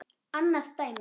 Annað dæmi